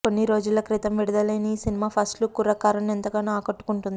కొన్ని రోజుల క్రితం విడుదలయిన ఈ సినిమా ఫస్ట్ లుక్ కుర్రకారుని ఎంతగానో ఆకట్టుకున్నది